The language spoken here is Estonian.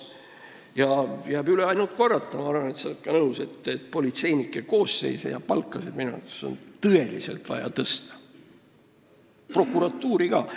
Jääb üle ainult korrata – ma arvan, et sa oled ka nõus –, et politsei ja prokuratuuri koosseisu ja palkasid on tõesti vaja suurendada.